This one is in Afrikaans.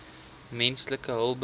menslike hulpbronne